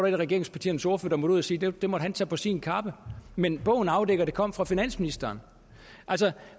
en af regeringspartiernes ordførere der måtte ud at sige det det måtte han tage på sin kappe men bogen afdækker at det kom fra finansministeren altså